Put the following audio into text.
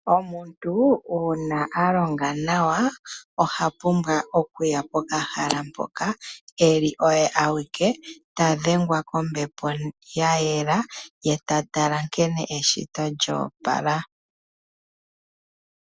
Omuntu uuna alonga nawa ohapumbwa okuya pokahala mpoka eli oye awike tadhengwa kombepo yayela ye tatala nkene eshito lyo opala.